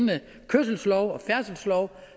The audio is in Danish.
den kørselslov og færdselslov